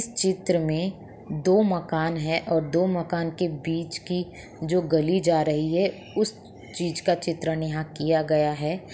चित्र में दो मकान है और दो मकान के बीच की जो गली जा रही है उस चीज का चित्रण यहां किया गया है।